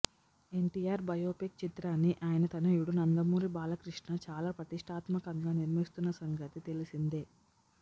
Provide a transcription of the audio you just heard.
NTR biopic చిత్రాన్ని ఆయన తనయుడు నందమూరి బాలకృష్ణ చాలా ప్రతిష్టాత్మకంగా నిర్మిస్తున్న సంగతి తెలిసిందే